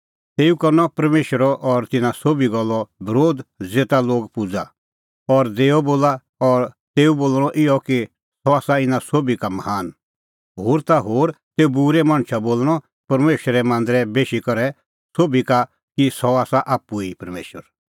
तेऊ करनअ परमेशरो और तिन्नां सोभी गल्लो बरोध ज़ेता लोग पूज़ा और देअ बोला और तेऊ बोल़णअ इहअ कि सह आसा इना सोभी का महान होर ता होर तेऊ बूरै मणछा बोल़णअ परमेशरे मांदरै बेशी करै सोभी का कि सह आसा आप्पू ई परमेशर